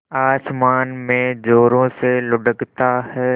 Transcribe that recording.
आसमान में ज़ोरों से लुढ़कता है